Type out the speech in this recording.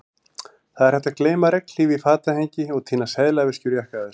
Það er hægt að gleyma regnhlíf í fatahengi og týna seðlaveski úr jakkavasa